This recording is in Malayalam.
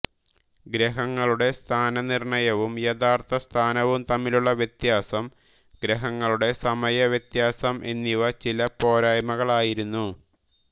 ഗ്രഹങ്ങളുടെ സ്ഥാനനിർണ്ണയവും യഥാർത്ഥസ്ഥാനവും തമ്മിലുള്ള വ്യത്യാസം ഗ്രഹങ്ങളുടെ സമയവ്യത്യാസം എന്നിവ ചില പോരായ്മകളായിരുന്നു